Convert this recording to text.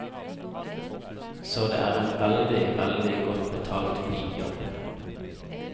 Så det er en veldig, veldig godt betalt bijobb.